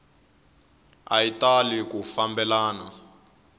a yi tali ku fambelana